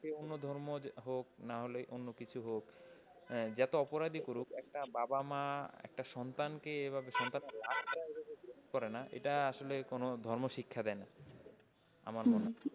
যতই অন্য ধর্ম হোক নাহলে অন্য কিছু হোক, যতো অপরাধই করুক একটা বাবা মা একটা সন্তানকে এভাবে সন্তানে lash এইভাবে গ্রহণ করে না এটা আসলে কোন ধর্ম শিক্ষা দেয় না, আমার মনে হয়।